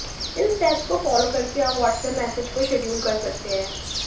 इन steps को follow कर के आप व्हाट्सएप्प मैसेज को शेड्यूल कर सकते हैं